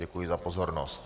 Děkuji za pozornost.